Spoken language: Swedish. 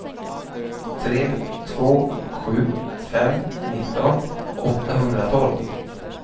tre två sju fem nitton åttahundratolv